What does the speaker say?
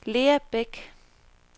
Lea Bech